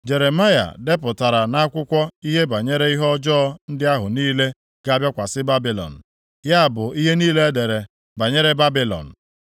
Jeremaya depụtara nʼakwụkwọ ihe banyere ihe ọjọọ ndị ahụ niile ga-abịakwasị Babilọn, ya bụ ihe niile e dere banyere Babilọn.